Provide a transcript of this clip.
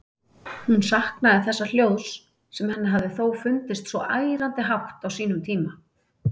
Hún saknaði þessa hljóðs, sem henni hafði þó fundist svo ærandi hátt á sínum tíma.